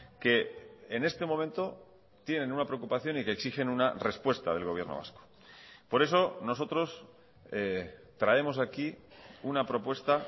que en este momento tienen una preocupación y que exigen una respuesta del gobierno vasco por eso nosotros traemos aquí una propuesta